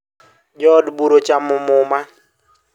Jo od bura ochamo muma